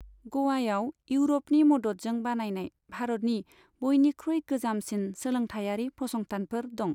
ग'वायाव इउर'पनि मददजों बानायनाय भारतनि बयनिख्रुइ गोजामसिन सोलोंथाइयारि फसंथानफोर दं।